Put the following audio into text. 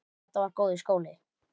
Þetta var góður skóli.